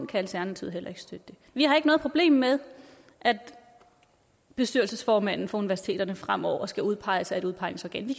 kan alternativet heller ikke støtte det vi har ikke noget problem med at bestyrelsesformanden for universiteterne fremover skal udpeges af et udpegningsorgan